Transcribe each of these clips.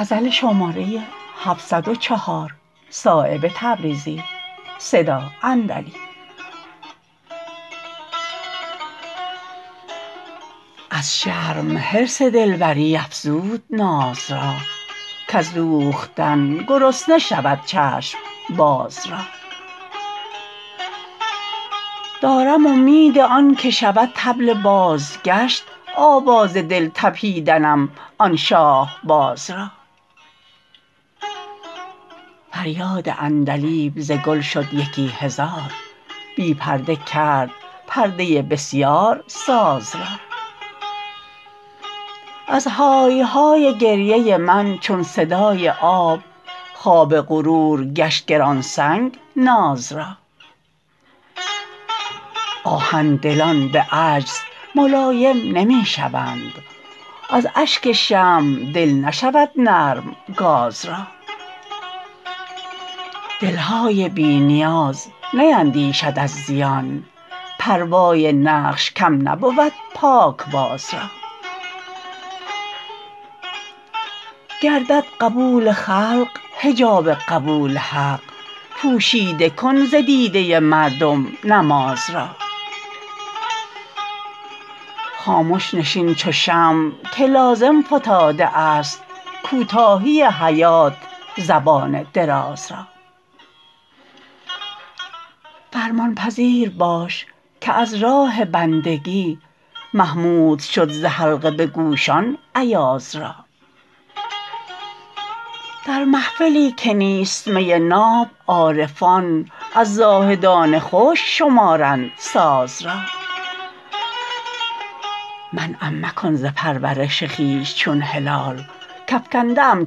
از شرم حرص دلبری افزود ناز را کز دوختن گرسنه شود چشم باز را دارم امید آن که شود طبل بازگشت آواز دل تپیدنم آن شاهباز را فریاد عندلیب ز گل شد یکی هزار بی پرده کرد پرده بسیار ساز را از های های گریه من چون صدای آب خواب غرور گشت گرانسنگ ناز را آهن دلان به عجز ملایم نمی شوند از اشک شمع دل نشود نرم گاز را دلهای بی نیاز نیندیشد از زیان پروای نقش کم نبود پاکباز را گردد قبول خلق حجاب قبول حق پوشیده کن ز دیده مردم نماز را خامش نشین چو شمع که لازم فتاده است کوتاهی حیات زبان دراز را فرمان پذیر باش که از راه بندگی محمود شد ز حلقه به گوشان ایاز را در محفلی که نیست می ناب عارفان از زاهدان خشک شمارند ساز را منعم مکن ز پرورش خویش چون هلال کافکنده ام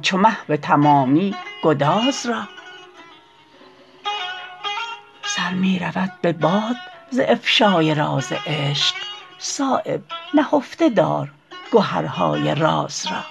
چو مه به تمامی گداز را سر می رود به باد ز افشای راز عشق صایب نهفته دار گهرهای راز را